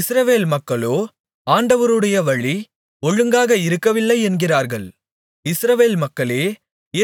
இஸ்ரவேல் மக்களோ ஆண்டவருடைய வழி ஒழுங்காக இருக்கவில்லை என்கிறார்கள் இஸ்ரவேல் மக்களே